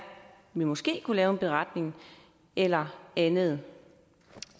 vi måske kunne lave en beretning eller andet